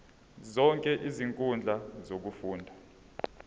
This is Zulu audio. zonke izinkundla zokufunda